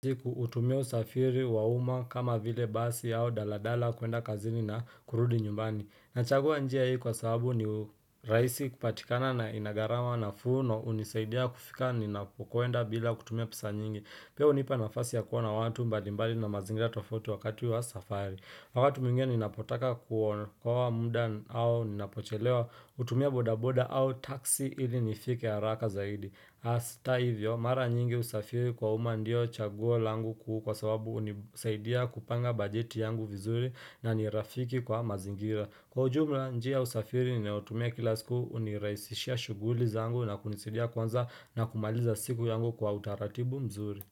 Hutumia usafiri wa umma kama vile basi au daladala kuenda kazini na kurudi nyumbani. Nachagua njia hii kwa sababu ni rahisi kupatikana na ina gharama nafuu na hunisaidia kufika ninapokwenda bila kutumia pesa nyingi. Pia hunipa nafasi ya kuona watu mbalimbali na mazingira tofauti wakati wa safari. Wakati mwingine ninapotaka kuokoa muda au ninapochelewa hutumia bodaboda au taxi ili nifike haraka zaidi. Hata hivyo, mara nyingi usafiri kwa umma ndiyo chaguo langu kwa sababu hunisaidia kupanga bajeti yangu vizuri na ni rafiki kwa mazingira. Kwa ujumla njia ya usafiri ninayotumia kila siku hunirahisishia shughuli zangu na kunisidia kuanza na kumaliza siku yangu kwa utaratibu mzuri.